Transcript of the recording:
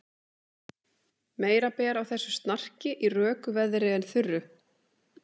Meira ber á þessu snarki í röku veðri en þurru.